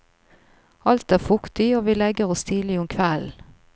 Alt er fuktig og vi legger oss tidlig om kvelden.